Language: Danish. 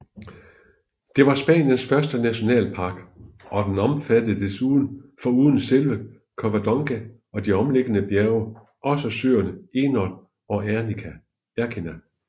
Det var Spaniens første nationalpark og den omfattede foruden selve Covadonga og de omliggende bjerge også søerne Enol og Ercina